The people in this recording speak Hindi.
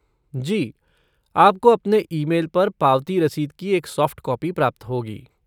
जी, आपको अपने ई मेल पर पावती रसीद की एक सॉफ़्ट कॉपी प्राप्त होगी।